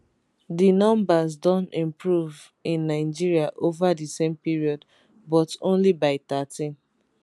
di numbers also don improve in nigeria ova di same period but only by 13